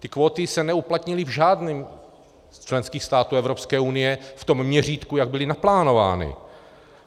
Ty kvóty se neuplatnily v žádném ze členských států Evropské unie v tom měřítku, jak byly naplánovány.